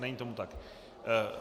Není tomu tak.